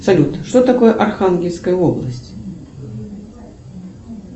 салют что такое архангельская область